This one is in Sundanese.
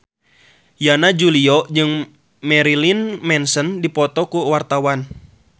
Yana Julio jeung Marilyn Manson keur dipoto ku wartawan